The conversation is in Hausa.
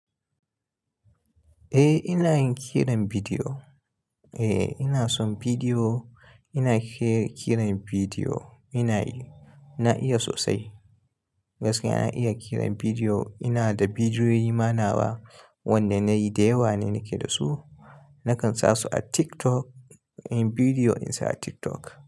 Eh ina yin kiran bidiyo. Eh ina son bidiyo, ina ƙiran bidiyo ina yi. Na iya sosai. Gaskiya na iya kiran bidiyo. Ina da bidiyoyi ma nawa, wanda na yi da yawa ne nake da su. Nakan sa su a TikTok, yin bidiyo insa a TikTok.